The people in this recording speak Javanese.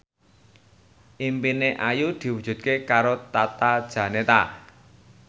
impine Ayu diwujudke karo Tata Janeta